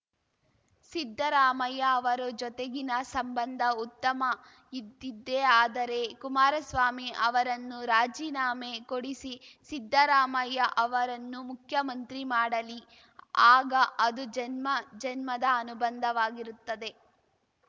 ಸಿದ್ದರಾಮಯ್ಯ ಅವರ ಜೊತೆಗಿನ ಸಂಬಂಧ ಉತ್ತಮ ಇದ್ದಿದ್ದೇ ಆದರೆ ಕುಮಾರಸ್ವಾಮಿ ಅವರನ್ನು ರಾಜಿನಾಮೆ ಕೊಡಿಸಿ ಸಿದ್ದರಾಮಯ್ಯ ಅವರನ್ನು ಮುಖ್ಯಮಂತ್ರಿ ಮಾಡಲಿ ಆಗ ಅದು ಜನ್ಮ ಜನ್ಮದ ಅನುಬಂಧವಾಗಿರುತ್ತದೆ